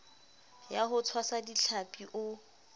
ya ho tshwasa dihlapi o